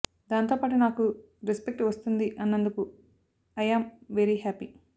దాంతో పాటు నాకు రెస్పెక్ట్ వస్తుంది అన్నందుకు ఐ యాం వెరీ హ్యాపీ